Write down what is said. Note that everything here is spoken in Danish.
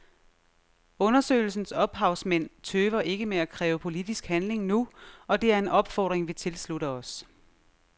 Undersøgelsens ophavsmænd tøver ikke med at kræve politisk handling nu, og det er en opfordring vi tilslutter os.